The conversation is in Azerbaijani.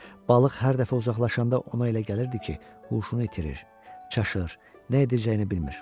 Balıq hər dəfə uzaqlaşanda ona elə gəlirdi ki, huşunu itirir, çaşır, nə edəcəyini bilmir.